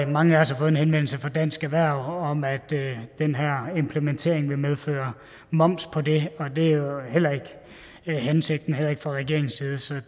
mange af os har fået en henvendelse fra dansk erhverv om at den her implementering vil medføre moms på det og det er jo heller ikke hensigten heller ikke fra regeringens side så